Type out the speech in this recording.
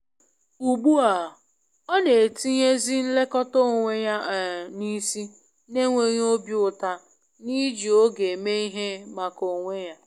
Ugbu a, ọ na etinye zi nlekọta onwe ya um n’isi, n'enweghị obi uta n’iji oge mee ihe maka onwe ya.